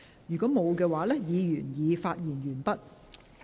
如果沒有，議員已發言完畢。